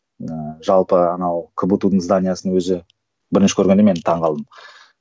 ыыы жалпы анау кбту дың зданиесінің өзі бірінші көргенде мен таңғалдым